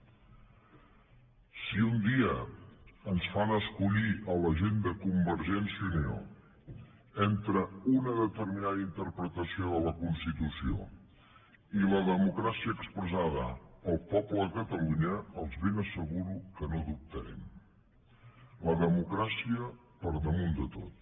si un dia ens fan escollir a la gent de convergència i unió entre una determinada interpretació de la constitució i la democràcia expressada pel poble de catalunya els ben asseguro que no dubtarem la democràcia per damunt de tot